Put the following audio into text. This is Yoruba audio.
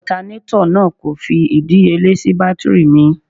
Ọtanátọ̀ náà kò fi ìdíyelé sì bátírì mi.